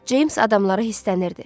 Ceyms adamlara hisslənirdi.